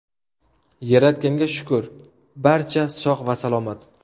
Yaratganga shukur barcha sog‘ va salomat.